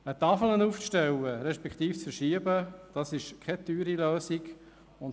Eine Tafel aufzustellen respektive zu verschieben, ist keine teure Lösung.